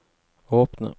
åpne